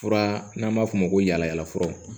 Fura n'an b'a f'o ma ko yala yala fura